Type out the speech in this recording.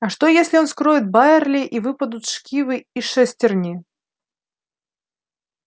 а что если он вскроет байерли и выпадут шкивы и шестерни